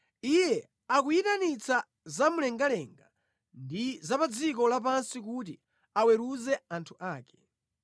Iye akuyitanitsa zamumlengalenga ndi za pa dziko lapansi kuti aweruze anthu ake.